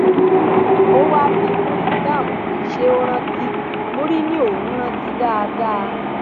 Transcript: ó wáá bi muriingham pé ṣé ó rántí muri ni òun rántí dáadáa